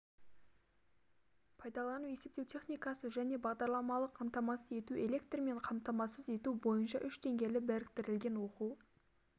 пайдалану есептеу техникасы және бағдарламалық қамтамасыз ету электрмен қамтамасыз ету бойынша үш деңгейлі біріктірілген оқу